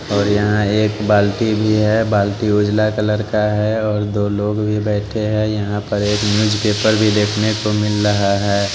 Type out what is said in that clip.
और यहाँ एक बाल्टी भी है बाल्टी उजला कलर का है और दो लोग भी बैठे हैं यहाँ पर एक न्यूज़ पेपर भी देखने को मिल रहा है।